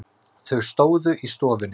Þau stóðu í stofunni.